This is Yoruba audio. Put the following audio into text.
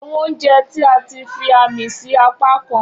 Awọn ounjẹ ti a ti fi aami si apakan.